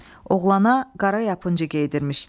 Oğlana qara yapıncı geydirmişdilər.